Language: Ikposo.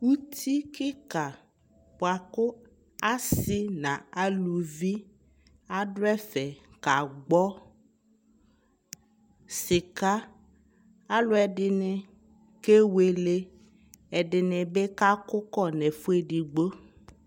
ʋti kikaa bʋakʋ asii nʋalʋvi adʋɛ fɛ ka gbɔ sika alʋɛdini kɛwɛlɛ, ɛdinidi kʋ kɔ nʋ ɛfʋ ɛdigbɔ;